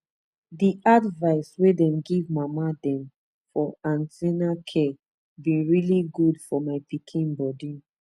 the advice wey dem give mama dem for an ten na care been really good for my my pikin body